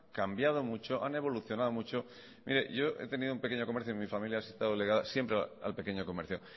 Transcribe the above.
cambiado mucho han evolucionado mucho mire yo he tenido un pequeño comercio en mi familia ha estado ligada al pequeño comercio